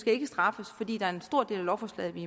ikke straffes fordi der er en stor del af lovforslaget vi